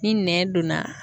Ni nɛn donna